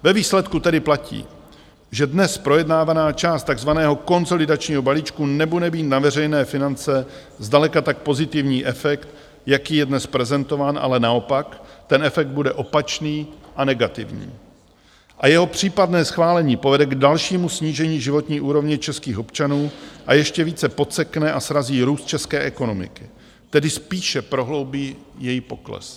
Ve výsledku tedy platí, že dnes projednávaná část tzv. konsolidačního balíčku nebude mít na veřejné finance zdaleka tak pozitivní efekt, jaký je dnes prezentován, ale naopak ten efekt bude opačný a negativní, a jeho případné schválení povede k dalšímu snížení životní úrovně českých občanů a ještě více podsekne a srazí růst české ekonomiky, tedy spíše prohloubí její pokles.